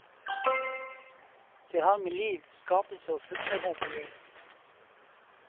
Det har med liv, skapelse og fruktbarhet å gjøre.